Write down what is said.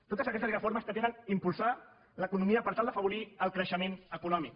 totes aquestes reformes pretenen impulsar l’economia per tal d’afavorir el creixement econòmic